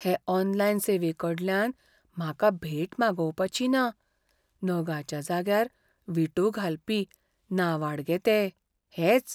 हे ऑनलायन सेवेकडल्यान म्हाकाभेट मागोवपाची ना. नगाच्या जाग्यार विटो घालपी नांवाडगे ते हेच.